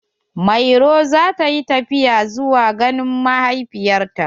Mairo za ta yi tafiya zuwa ganin mahaifiyar ta.